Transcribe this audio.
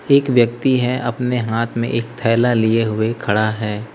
एक व्यक्ति है अपने हाथ में एक थैला लिए हुए खड़ा है।